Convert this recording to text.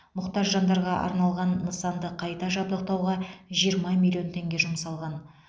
мұқтаж жандарға арналған нысанды қайта жабдықтауға жиырма миллион теңге жұмсалған